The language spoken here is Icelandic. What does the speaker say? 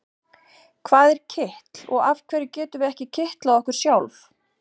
Hvað er kitl og af hverju getum við ekki kitlað okkur sjálf?